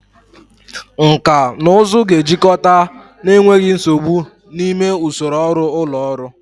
Nkà na ụzụ ga-ejikọta n'enweghị nsogbu n'ime usoro ọrụ ụlọ ọrụ.